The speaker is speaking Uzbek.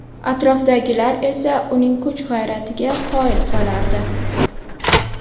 Atrofdagilar esa uning kuch-g‘ayratiga qoyil qolardi.